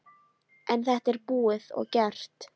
En þetta er búið og gert.